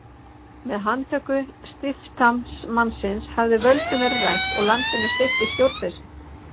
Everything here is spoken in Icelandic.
Með handtöku stiftamtmannsins hafði völdum verið rænt og landinu steypt í stjórnleysi.